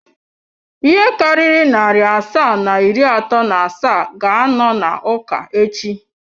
Ihe karịrị narị asaa na iri atọ na asaa ga-anọ n'ụka echi.